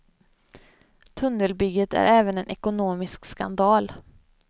Tunnelbygget är även en ekonomisk skandal.